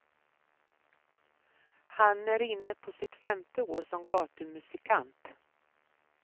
Han är inne på sitt femte år som gatumusikant.